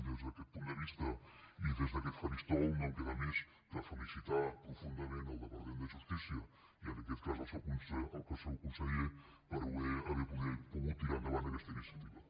des d’aquest punt de vista i des d’aquest faristol no em queda més que felicitar profundament el departament de justícia i en aquest cas el seu conseller per haver pogut tirar endavant aquesta iniciativa